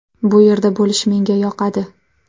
Bu yerda bo‘lish menga yoqadi.